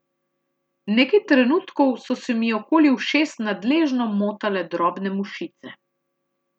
Nekaj trenutkov so se mi okoli ušes nadležno motale drobne mušice.